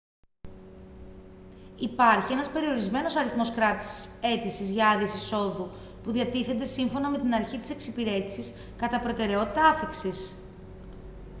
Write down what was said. υπάρχει ένας περιορισμένος αριθμός κράτησης αίτησης για άδειες εισόδου που διατίθενται σύμφωνα με την αρχή της εξυπηρέτησης κατά προτεραιότητα άφιξης